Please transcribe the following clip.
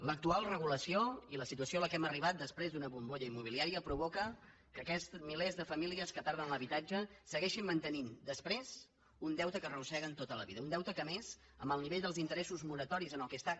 l’actual regulació i la situació a la qual hem arribat després d’una bombolla immobiliària provoquen que aquests milers de famílies que perden l’habitatge segueixin mantenint després un deute que arrosseguen tota la vida un deute que a més amb el nivell dels interessos moratoris en el qual està